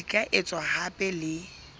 di ka etswa hape le